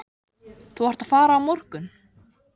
Þú ert að fara á morgun.